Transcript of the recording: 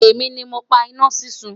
èmi ní mọ pá iná súnsun